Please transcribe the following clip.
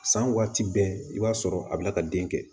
San waati bɛɛ i b'a sɔrɔ a bɛna ka den kɛ